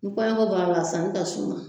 Ni kɔɲɔko bɔr'a la a sanni ka suma